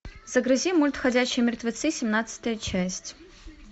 загрузи мульт ходячие мертвецы семнадцатая часть